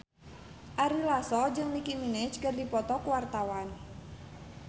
Ari Lasso jeung Nicky Minaj keur dipoto ku wartawan